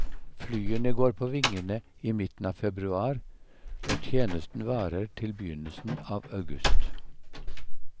Flyene går på vingene i midten av februar, og tjenesten varer til begynnelsen av august.